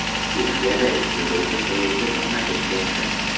Chexiyada ikki yo‘lovchi poyezdi to‘qnashib ketdi .